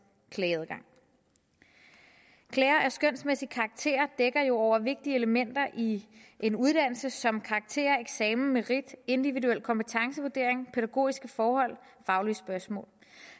klageadgang klager af skønsmæssig karakter dækker jo over vigtige elementer i en uddannelse som karakter eksamen merit individuel kompetencevurdering pædagogiske forhold faglige spørgsmål